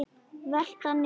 Velta niður.